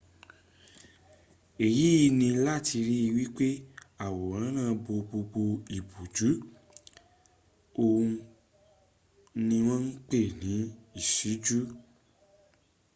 èyí ni láti ri wípé àwòrán náà bo gbogbo ìbòjú. òhun ni wọ́n ń pè ní ìṣíjú